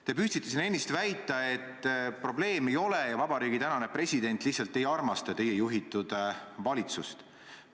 Te püüdsite siin ennist väita, et probleemi ei ole ja tänane president lihtsalt ei armasta teie juhitud valitsust.